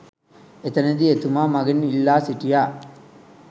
එතනදී එතුමා මගෙන් ඉල්ලා සිටියා